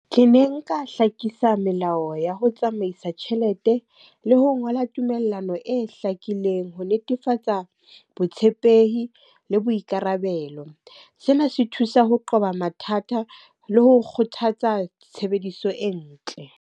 Ke ne nka hlakisa melao ya ho tsamaisa tjhelete, le ho ngola tumellano e hlakileng ho netefatsa botshepehi le boikarabelo. Sena se thusa ho qoba mathata le ho kgothatsa tshebediso e ntle.